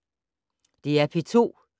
DR P2